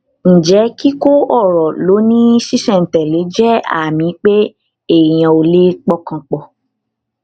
ǹjẹ kíkó ọrọ lọ ní ṣísẹntẹlé jẹ àmì pé èèyàn ò lè pọkàn pọ